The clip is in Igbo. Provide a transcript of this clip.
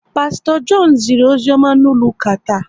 Pasto John ziri ozioma n'ụlọ ụka taa